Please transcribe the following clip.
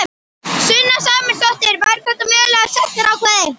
Sunna Sæmundsdóttir: Væru þetta mögulega sektarákvæði?